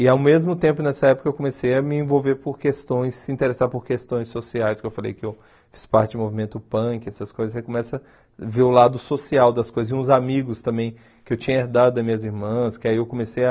E ao mesmo tempo nessa época eu comecei a me envolver por questões, se interessar por questões sociais, que eu falei que eu fiz parte do movimento punk, essas coisas, você começa a ver o lado social das coisas, e uns amigos também que eu tinha herdado das minhas irmãs, que aí eu comecei a...